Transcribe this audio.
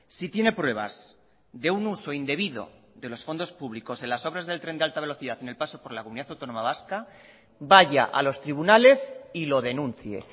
si tiene pruebas de un uso indebido de los fondos públicos en las obras del tren de alta velocidad en el paso por la comunidad autónoma vasca vaya a los tribunales y lo denuncie